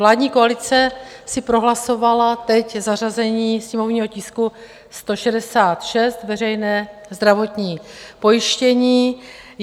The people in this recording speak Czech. Vládní koalice si prohlasovala teď zařazení sněmovního tisku 166, veřejné zdravotní pojištění.